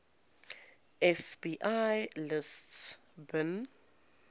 fbi lists bin